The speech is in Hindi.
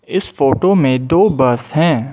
इस फोटो मे दो बस है।